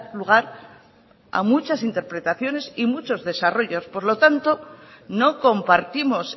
lugar a muchas interpretaciones y muchos desarrollos por lo tanto no compartimos